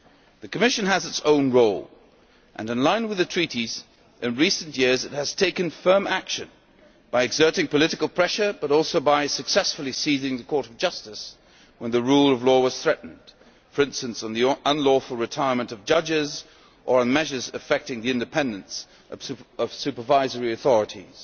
The Commission has its own role, and in line with the Treaties, in recent years it has taken firm action by exerting political pressure, but also by successfully involving the Court of Justice when the rule of law was threatened, for instance on the unlawful retirement of judges or on measures affecting the independence of supervisory authorities.